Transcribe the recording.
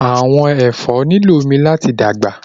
Vegetables need water to grow